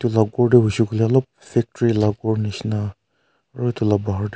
etu lah ghor tu hoise koi leh alop factory lah ghor nisna aru etu lah ghor tu--